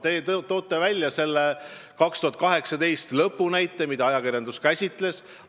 Te tõite selle 2018 lõpu näite, mida ajakirjandus käsitles.